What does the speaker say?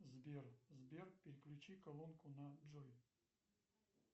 сбер сбер переключи колонку на джой